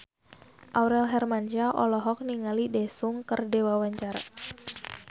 Aurel Hermansyah olohok ningali Daesung keur diwawancara